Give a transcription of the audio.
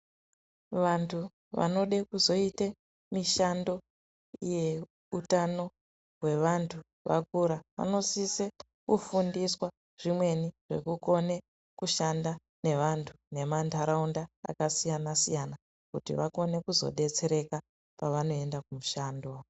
Vantu vanode kuzoite mishando yeutano hwevantu vakura, vanosise kufundiswa zvimweni zvekukone kushanda nevantu nemantaraunda akasiyana-siyana kuti vakone kuzodetsereka pavanoenda kumishando.